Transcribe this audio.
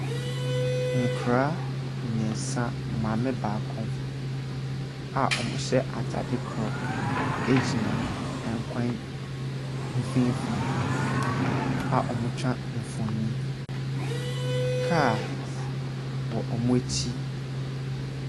Nkwadaa mmeɛnsa, maame baako a wɔhyɛ atade korɔ gyina kwan mfimfin a wɔretwa mfonin. Cars wɔ wɔ akyi.